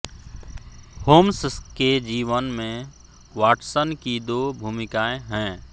Holmes के जीवन में वाटसन की दो भूमिकाएं हैं